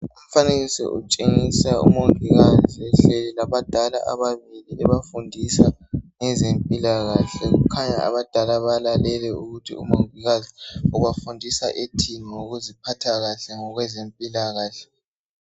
Umfanekiso utshengisa umongikazi labadala ababili ebafundisa ngezempilakahle kukhanya abadala balalele ukuthi umongikazi ubafundisa ethini ngokuziphatha kahle ngokwezempila kahle.